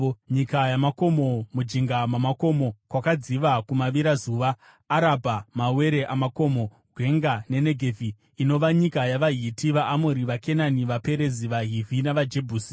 nyika yamakomo, mujinga mamakomo kwakadziva kumavirazuva, Arabha, mawere amakomo, gwenga neNegevhi, inova nyika yavaHiti, vaAmori, vaKenani, vaPerizi, vaHivhi navaJebhusi):